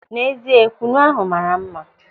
N'ezie, kwụnụ ahụ maara mma.